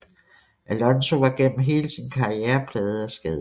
Alonzo var gennem hele sin karriere plaget af skader